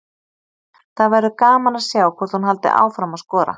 Það verður gaman að sjá hvort að hún haldi áfram að skora.